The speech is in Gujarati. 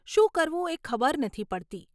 શું કરવું એ ખબર નથી પડતી.